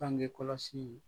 Bangekɔlɔsiw